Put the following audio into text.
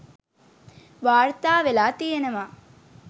වාර්තා වෙලා තියනවා.